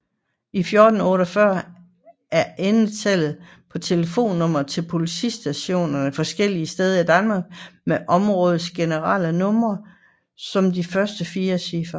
1448 er endetallet på telefonnumre til politistationer forskellige steder i Danmark med områdets generelle nummer som de første fire cifre